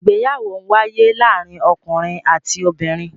Ìgbéyàwó ń wáyé láàárín ọkùnrin àti obìnrin.